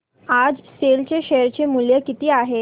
आज सेल चे शेअर चे मूल्य किती आहे